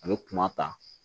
A bɛ kuma ta